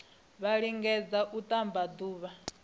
vha lingedze u ṱamba ḓuvha